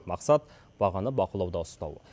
мақсат бағаны бақылауда ұстау